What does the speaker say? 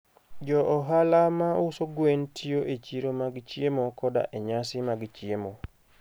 Jo ohala ma uso gwen tiyo e chiro mag chiemo koda e nyasi mag chiemo.